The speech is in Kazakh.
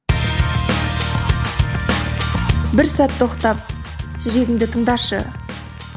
бір сәт тоқтап жүрегіңді тыңдашы